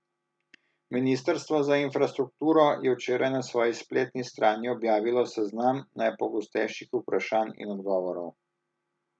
Ministrstvo za infrastrukturo je včeraj na svoji spletni strani objavilo seznam najpogostejših vprašanj in odgovorov.